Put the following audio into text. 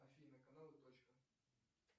афина канал и точка